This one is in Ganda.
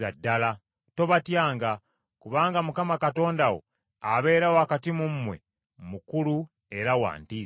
Tobatyanga, kubanga Mukama Katonda wo abeera wakati mu mmwe, mukulu era wa ntiisa.